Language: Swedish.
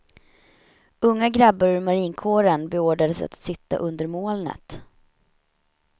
Unga grabbar ur marinkåren beordrades att sitta under molnet.